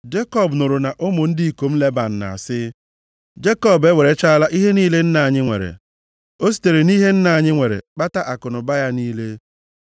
Jekọb nụrụ na ụmụ ndị ikom Leban na-asị, “Jekọb ewerechaala ihe niile nna anyị nwere. O sitere nʼihe nna anyị nwere kpata akụnụba ya niile.”